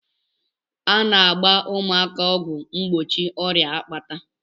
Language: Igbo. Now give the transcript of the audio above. A na-agba ụmụaka ọgwụ mgbochi ọrịa akpata.